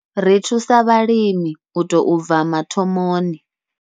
Ri thusa vhalimi u tou bva mathomoni.